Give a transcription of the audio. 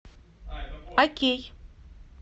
окей